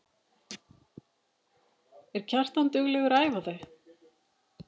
Er Kjartan duglegur að æfa þau?